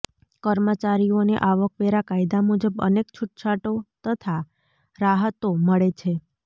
કર્મચારીઓને આવકવેરા કાયદા મુજબ અનેક છુટછાટો તથા રાહતો મળે છે